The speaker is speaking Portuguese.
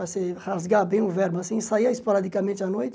Para se rasgar bem o verbo assim, saía esporadicamente à noite,